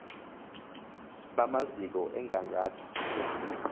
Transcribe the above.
bamaziko emigangatho yesizwe